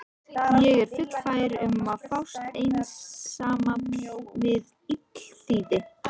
Ég er fullfær um að fást einsamall við illþýði!